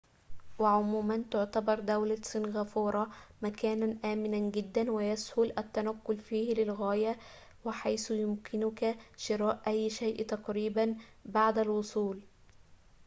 وعموماً تعتبر دولة سنغافورة مكاناً آمناً جداً ويسهل التنقّل فيه للغاية وحيث يمكنك شراء أي شيءٍ تقريباً بعد الوصول